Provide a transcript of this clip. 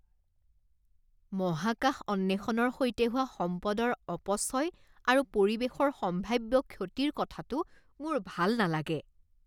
মহাকাশ অন্বেষণৰ সৈতে হোৱা সম্পদৰ অপচয় আৰু পৰিৱেশৰ সম্ভাৱ্য ক্ষতিৰ কথাটো মোৰ ভাল নালাগে।